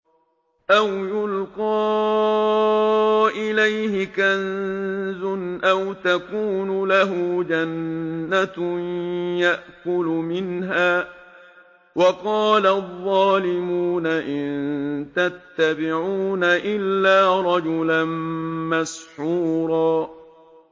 أَوْ يُلْقَىٰ إِلَيْهِ كَنزٌ أَوْ تَكُونُ لَهُ جَنَّةٌ يَأْكُلُ مِنْهَا ۚ وَقَالَ الظَّالِمُونَ إِن تَتَّبِعُونَ إِلَّا رَجُلًا مَّسْحُورًا